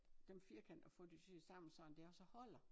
Dem firkanter at få det syet sammen sådan det også holder